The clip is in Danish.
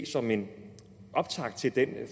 som en optakt til den